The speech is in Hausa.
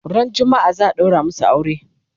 ran jumma'a zaa daura masu aure